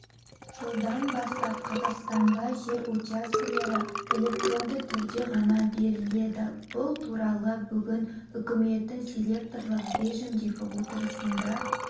жылдан бастап қазақстанда жер учаскелері электронды түрде ғана беріледі бұл туралы бүгін үкіметтің селекторлық режімдегі отырысында